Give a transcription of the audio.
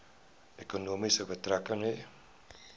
ekonomie betrekking hê